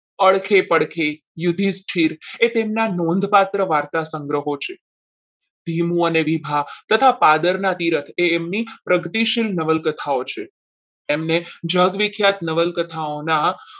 અળખી પડખે યુધિષ્ઠિર એ તેમના નોંધપાત્ર વાર્તા સંગ્રહ છે ભીમો અને વિભા તથા પાદરના એમની પ્રગતિશીલ નવલકથાઓ છે એમને જગવિખ્યાત નવલકથાઓના